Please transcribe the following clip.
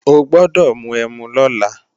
O gbọ́dọ̀ mu ẹmu lọ́la!